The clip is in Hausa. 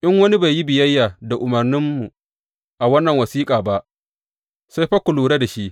In wani bai yi biyayya da umarninmu a wannan wasiƙa ba, sai fa ku lura da shi.